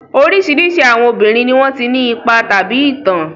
Oríṣiríṣi àwọn obìnrin ni wọ́n ti ní ipa tàbí ìtàn.